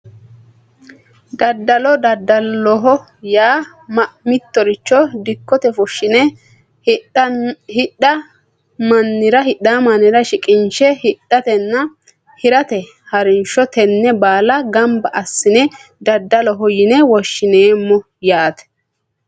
Daddalo daddaloho yaa mittoricho dikko fushshine hidhaa mannira shiqinshe hidhatenna hirate harinsho tenne baala gamba assine daddaloho yine woshshineemmo yaate